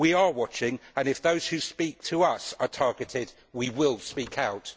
We are watching and, if those who speak to us are targeted, we will speak out.